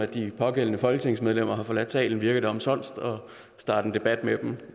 de pågældende folketingsmedlemmer har forladt salen virker det omsonst at starte en debat